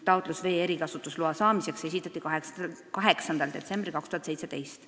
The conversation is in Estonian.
Taotlus vee erikasutusloa saamiseks esitati 8. detsembril 2017.